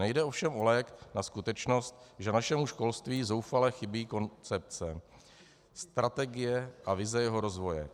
Nejde ovšem o lék na skutečnost, že našemu školství zoufale chybí koncepce, strategie a vize jeho rozvoje.